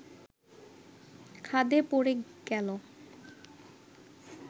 খাদে পড়ে গেল